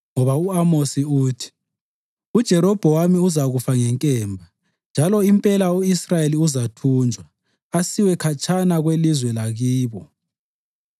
Ngoba u-Amosi uthi: ‘UJerobhowamu uzakufa ngenkemba, njalo impela u-Israyeli uzathunjwa, asiwe khatshana kwelizwe lakibo.’ ”